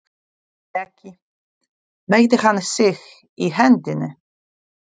Breki: Meiddi hann sig í hendinni?